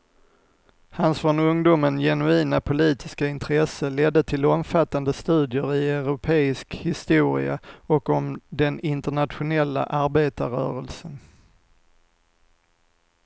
Hans från ungdomen genuina politiska intresse ledde till omfattande studier i europeisk historia och om den internationella arbetarrörelsen.